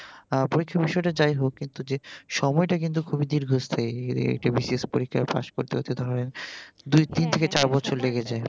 পরীক্ষার বিষয়টা যাই হোক কিন্তু যে সময়টা কিন্তু খুবই দীর্ঘস্থায়ী এই একটা BCS পরীক্ষা পাস করতে করতে ধরেন দুই তিন থেকে চার বছর লেগে যায় ।